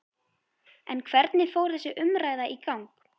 En hvernig fór þessi umræða í gang?